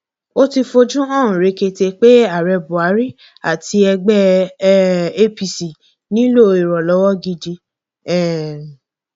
ó ti fojú hàn rekete pé ààrẹ buhari àti ẹgbẹ um apc nílò ìrànlọwọ gidi um